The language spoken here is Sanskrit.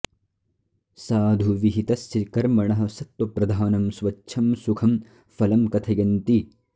साधु विहितस्य कर्मणः सत्त्वप्रधानं स्वच्छं सुखं फलं कथयन्ति